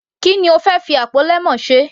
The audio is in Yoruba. Ki ni o fẹ́ fi àpò lemon ṣe.